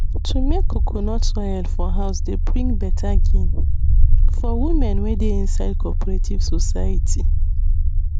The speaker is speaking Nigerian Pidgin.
to make coconut oil for house dey bring better gain for women wey dey inside cooperative society